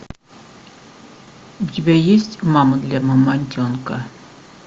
у тебя есть мама для мамонтенка